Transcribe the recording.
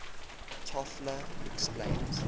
toffler explains